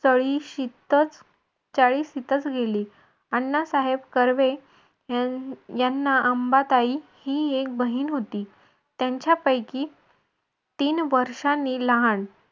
तळिशीतच चाळिशीतच गेली. अण्णा साहेब कर्वे याना अंबाताई ही एक बहीण होती. त्यांच्यापैकी तीन वर्षांनी लहान.